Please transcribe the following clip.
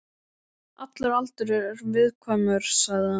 Allur aldur er viðkvæmur, sagði hann.